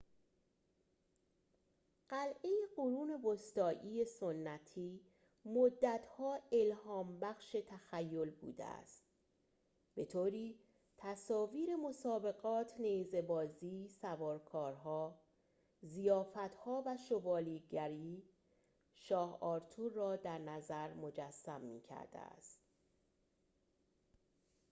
قلعه قرون وسطایی سنتی مدت‌ها الهام‌بخش تخیل بوده است به‌طوری تصاویر مسابقات نیزه‌بازی سوارکارها ضیافت‌ها و شوالیه‌گری شاه آرتور را درنظر مجسم می‌کرده است